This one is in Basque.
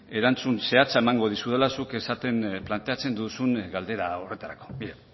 erantzun zehatza emango dizudala zuk planteatzen duzun galdera horretarako begira